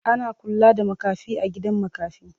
Ana kula da makafi a gidan makafi.